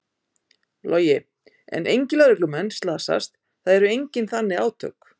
Logi: En engir lögreglumenn slasast, það eru engin þannig átök?